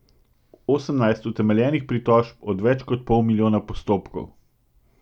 Osemnajst utemeljenih pritožb od več kot pol milijona postopkov!